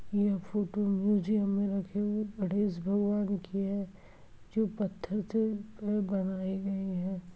यह photo museum मे रखे हुए गणेश भगवान की है जो पत्थर से बनाए गई है।